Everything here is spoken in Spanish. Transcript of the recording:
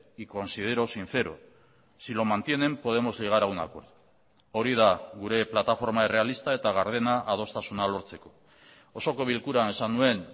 y considero sincero si lo mantienen podemos llegar a un acuerdo hori da gure plataforma errealista eta gardena adostasuna lortzeko osoko bilkuran esan nuen